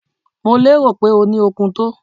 Mo lérò pé o ní okun tó.